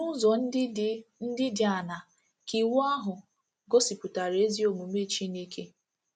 N’ụzọ ndị dị ndị dị aṅaa ka Iwu ahụ gosipụtara ezi omume Chineke?